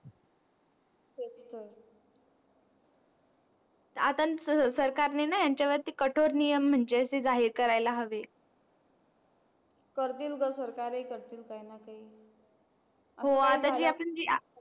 आता सरकार ने ना यांच्या वरती कठोर नियम म्हणजे अशी जाहीर करायला हवी करतील ग सरकार हि करतील